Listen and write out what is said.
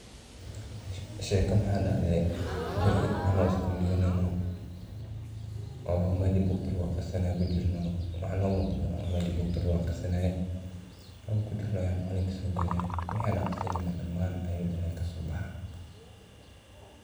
Sheeko maxaa dacde bari anago skuul diganeyno oo mesha bugta lagu aqrisanaayo kujirno waxaa no muqdo waa meshi bugta lagu aqrisanaaye oo kujirna aya macalinki soogalay waxaan aqrisaneyne damaan ayu dahay kasobaxa.